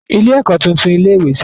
Ilé-ẹ̀kọ́ ti tún ilé-ìwé ṣe.